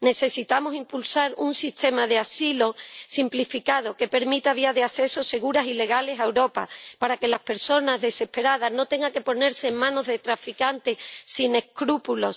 Necesitamos impulsar un sistema de asilo simplificado que permita vías de acceso seguras y legales a Europa para que las personas, desesperadas, no tengan que ponerse en manos de traficantes sin escrúpulos.